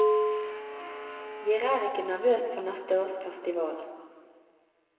Jer er ikke nervøs for neste års festival.